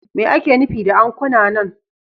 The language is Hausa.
Me ake nufi da ankuna nan?